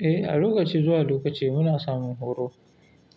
Eh, a lokaci zuwa lokaci muna samun horo